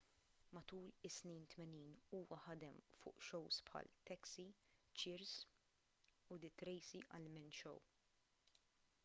matul is-snin 80 huwa ħadem fuq shows bħal taxi cheers u the tracy ullman show